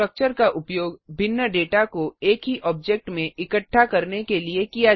structure का उपयोग भिन्न डेटा को एक ही ऑब्जेक्ट में इकट्ठा करने के लिए किया जाता है